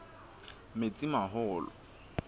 metsimaholo